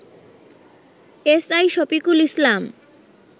SI Shafiqul Islam